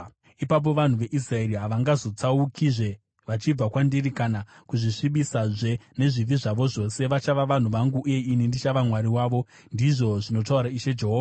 Ipapo vanhu veIsraeri havangazotsaukizve vachibva kwandiri kana kuzvisvibisazve nezvivi zvavo zvose. Vachava vanhu vangu, uye ini ndichava Mwari wavo, ndizvo zvinotaura Ishe Jehovha.’ ”